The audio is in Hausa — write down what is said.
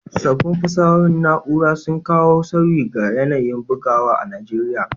Sabbin fasahohin na’ura sun kawo sauyi ga yanayin bugawa a Najeriya.